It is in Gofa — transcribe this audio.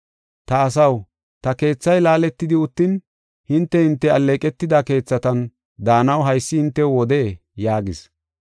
“Ta asaw, ta keethay laaletidi uttin, hinte, hinte alleeqetida keethatan daanaw haysi hintew wodee?” yaagis.